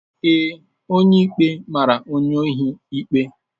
Ee, onye ikpe mara onye ohi ikpe.